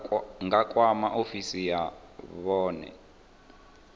nga kwama ofisi ya vhune